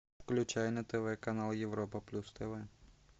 включай на тв канал европа плюс тв